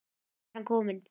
Og þangað er hann kominn.